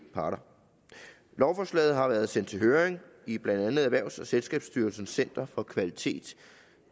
parter lovforslaget har været sendt til høring i blandt andet erhvervs og selskabsstyrelsens center for kvalitet